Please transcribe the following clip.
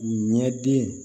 Ɲɛ den